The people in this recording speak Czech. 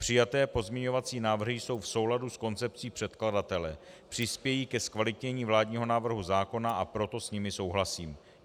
Přijaté pozměňovací návrhy jsou v souladu s koncepcí předkladatele, přispějí ke zkvalitnění vládního návrhu zákona, a proto s nimi souhlasím.